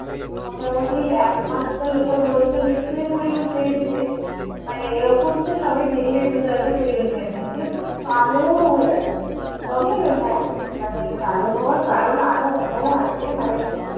মোটামুটি এক মাস তো লোকে বলতো নিশ্চয়ই পুরী ঘুরতে গেছিলিস। মানে এরকম তো সবাই দেখলেই বুঝতে পারত পুরী ঘুরতে গেছিলিস। মানে পুরো কালো হয়ে আসতাম। তবে হ্যাঁ মানে কালো হওয়ার কারণ আরো অন্যও আছে মানে